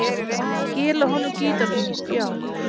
Skila honum gítarnum, já.